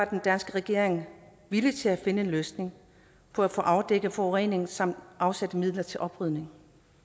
den danske regering villig til at finde en løsning for at få afdækket forureningen samt afsat midler til oprydning